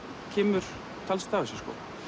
kemur talsvert af þessu